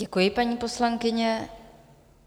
Děkuji, paní poslankyně.